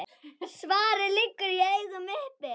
Svarið liggur í augum uppi.